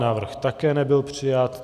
Návrh také nebyl přijat.